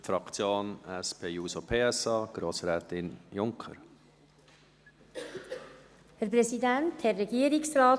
Für die Fraktion SP-JUSO-PSA, Grossrätin Margrit Junker.